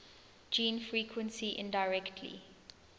gene frequency indirectly